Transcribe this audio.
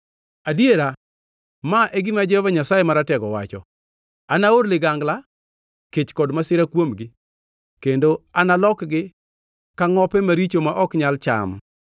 adiera, ma e gima Jehova Nyasaye Maratego wacho: “Anaor ligangla, kech kod masira kuomgi kendo analokgi ka ngʼope maricho ma ok nyal cham.